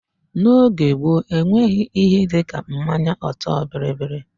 N'oge gboo, e nweghị ihe dịka mmanya ọtọ bịrịbịrị.